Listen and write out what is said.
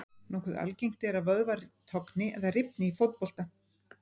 Nokkuð algengt er að vöðvar togni eða rifni í fótbolta.